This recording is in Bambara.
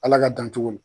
Ala ka dan cogo ma